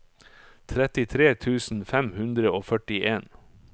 trettitre tusen fem hundre og førtien